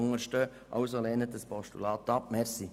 Also, lehnen Sie dieses Postulat ab! .